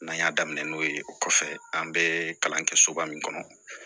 N'an y'a daminɛ n'o ye o kɔfɛ an bɛ kalan kɛ soba min kɔnɔ